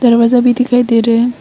दरवाजा भी दिखाई दे रहा--